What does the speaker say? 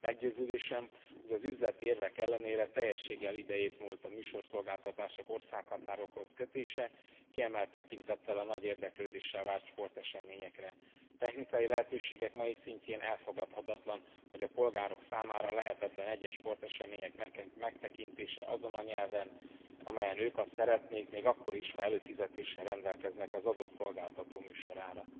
Meggyőződésem, hogy az üzleti érvek ellenére teljességgel idejétmúlt a műsorszolgáltatások országhatárokhoz kötése, kiemelt tekintettel a nagy érdeklődéssel vált sporteseményekre. A technikai lehetőségek mai szintjén elfogadhatatlan, hogy a polgárok számára lehetetlen egyes sportesemények megtekintése azon a nyelven, amelyen ők azt szeretnék még akkor is, ha előfizetéssel rendelkeznek az adott szolgáltató műsorára.